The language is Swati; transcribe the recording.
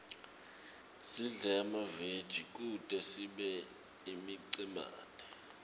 sidle emaveji kute sibe imicemane